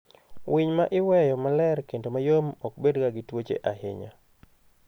Winy ma iweyo maler kendo mayom ok bedga gi tuoche ahinya.